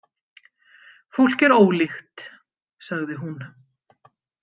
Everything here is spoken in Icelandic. Fólk er ólíkt, sagði hún.